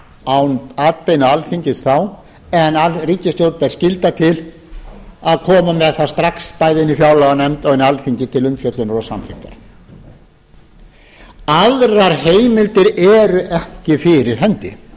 án atbeina alþingis þá en ríkisstjórn ber skylda til að koma með það strax bæði inn í fjárlaganefnd og inn í alþingi til umfjöllunar og samþykktar aðrar heimildir eru ekki fyrir hendi